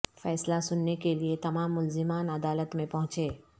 فیصلہ سننے کے لیے تمام ملزمان عدالت میں پہنچے